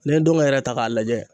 N'i ye ndɔnkɛ yɛrɛ ta ka lajɛ